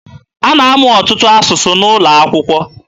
A na-amụ ọtụtụ asụsụ N'ụlọakwụkwọ.